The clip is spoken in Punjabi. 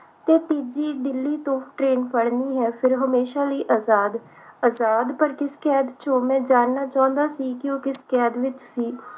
ਤੇ ਤੀਜੀ ਦਿੱਲੀ ਤੋਂ train ਫੜਨੀ ਹੈ ਫਿਰ ਹਮੇਸ਼ਾ ਲਈ ਆਜਾਦ ਆਜਾਦ ਪਰ ਕਿਸ ਕੈਦ ਵਿਚੋਂ ਮੈਂ ਜਾਨਣਾ ਚਾਹੁੰਦਾ ਸੀ ਕਿ ਉਹ ਕਿਸ ਕੈਦ ਵਿਚ ਸੀ